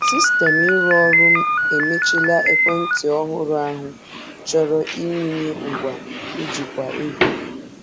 Sistemụ ịrụ ọrụ emechiela ekwentị ọhụrụ ahụ chọrọ ịwụnye ngwa njikwa ego.